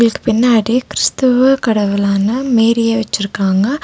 ஸ் பின்னாடி கிறிஸ்தவ கடவுள்ளான மேரிய வெச்சிருக்காங்க.